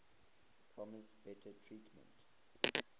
promised better treatment